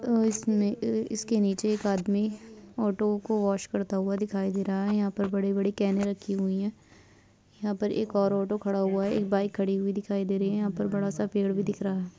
तो इसमें इ-इसके नीचे एक आदमी ऑटो को वॉश करता हुआ दिखाई दे रहा है यहाँ पर बड़ी-बड़ी कैने रखी हुई है यहाँ पर एक और ऑटो खड़ा हुआ एक बाइक खड़ी हुई दिखाई दे रही है यहाँ पर बड़ा सा पेड़ भी दिख रहा है।